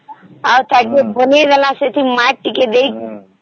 ଆଉ ଯୋଉଠି ବଣେଇଦେଲେ ମାଟି ଟିକେ ଦେଇକି